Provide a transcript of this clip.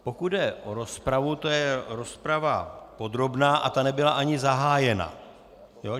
Pokud jde o rozpravu, to je rozprava podrobná a ta nebyla ani zahájena.